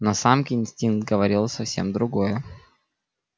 но самке инстинкт говорил совсем другое